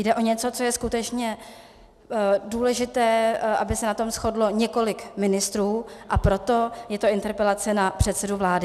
Jde o něco, co je skutečně důležité, aby se na tom shodlo několik ministrů, a proto je to interpelace na předsedu vlády.